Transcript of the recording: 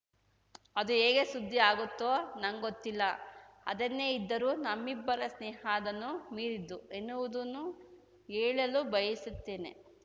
ಅದು ಹೇಗೆ ಸುದ್ದಿ ಆಗುತ್ತೋ ನಂಗೊತ್ತಿಲ್ಲ ಅದ್ದೆನೆ ಇದ್ದರೂ ನಮ್ಮಿಬ್ಬರ ಸ್ನೇಹ ಅದನ್ನು ಮೀರಿದ್ದು ಎನ್ನುವುದನ್ನು ಹೇಳಲು ಬಯಸುತ್ತೇನೆ